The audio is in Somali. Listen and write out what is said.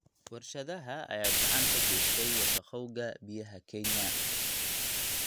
Warshadaha ayaa gacan ka geysta wasakhowga biyaha Kenya.